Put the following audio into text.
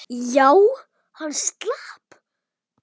Já, hann slapp.